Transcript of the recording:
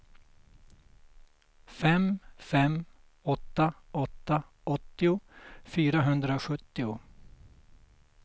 fem fem åtta åtta åttio fyrahundrasjuttio